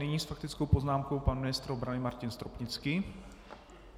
Nyní s faktickou poznámkou pan ministr obrany Martin Stropnický.